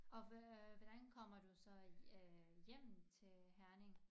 Og hvad øh hvordan kommer du så øh hjem til Herning